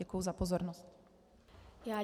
Děkuji za pozornost.